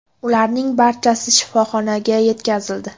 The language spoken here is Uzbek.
Ularning barchasi shifoxonaga yetkazildi.